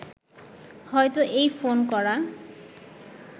হয়ত এই ফোন করা